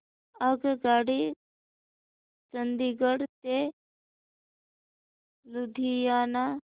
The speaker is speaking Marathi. आगगाडी चंदिगड ते लुधियाना